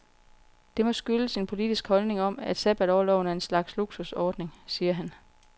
Det må skyldes en politisk holdning om, at sabbatorloven er en slags luksusordning, siger han.